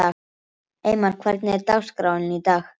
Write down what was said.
Eymar, hvernig er dagskráin í dag?